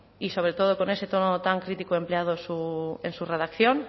y sobre todo con ese tono tan crítico empleado en su redacción